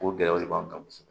O gɛlɛya de b'anw kan kosɛbɛ